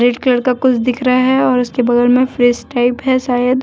एक लड़का कुछ दिख रहा है और उसके बगल में फ्रिज टाइप है शायद।